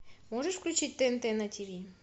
можешь включить тнт на тв